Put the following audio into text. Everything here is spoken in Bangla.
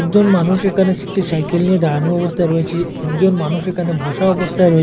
একজন মানুষ একানে একটি সাইকেল নিয়ে দাঁড়ানো অবস্থায় রয়েচে একজন মানুষ একানে বসা অবস্থায় রয়েচে।